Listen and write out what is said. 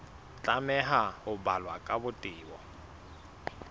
tlameha ho balwa ka botebo